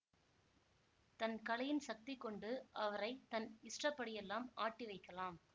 தன் கலையின் சக்தி கொண்டு அவரை தன் இஷ்டப்படியெல்லாம் ஆட்டி வைக்கலாம்